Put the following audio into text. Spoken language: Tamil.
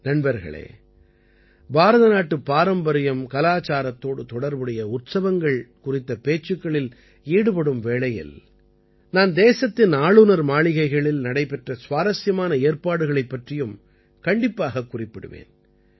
நண்பர்களே பாரதநாட்டுப் பாரம்பரியம் கலாச்சாரத்தோடு தொடர்புடைய உற்சவங்கள் குறித்த பேச்சுக்களில் ஈடுபடும் வேளையில் நான் தேசத்தின் ஆளுநர் மாளிகைகளில் நடைபெற்ற சுவாரசியமான ஏற்பாடுகளைப் பற்றியும் கண்டிப்பாகக் குறிப்பிடுவேன்